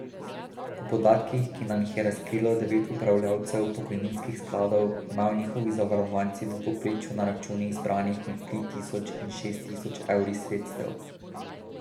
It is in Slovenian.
Po podatkih, ki nam jih je razkrilo devet upravljavcev pokojninskih skladov, imajo njihovi zavarovanci v povprečju na računih zbranih med tri tisoč in šest tisoč evri sredstev.